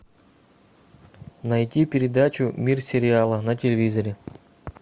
найти передачу мир сериала на телевизоре